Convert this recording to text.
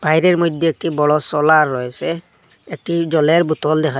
বাইরের মইধ্যে একটি বড় সোলার রয়েসে একটি জলের বোতল দেখা--